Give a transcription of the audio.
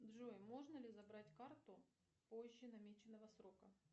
джой можно ли забрать карту позже намеченного срока